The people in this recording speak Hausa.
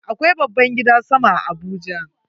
Akwai babban gidan sama a Abuja.